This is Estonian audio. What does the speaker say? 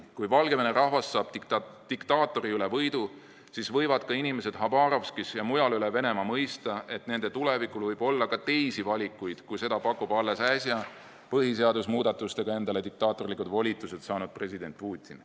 Kui Valgevene rahvas saab diktaatori üle võidu, siis võivad ka inimesed Habarovskis ja mujal üle Venemaa mõista, et nende tulevikuks võib olla ka teisi valikuid, kui seda pakub alles äsja põhiseaduse muudatustega endale diktaatorlikud volitused saanud president Putin.